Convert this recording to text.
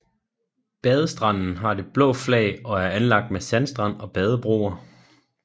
Badestranden har det blå flag og er anlagt med sandstrand og badebroer